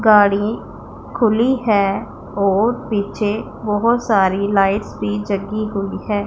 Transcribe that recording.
गाड़ी खुली है और पीछे बहुत सारी लाइट्स भी जगी हुई है।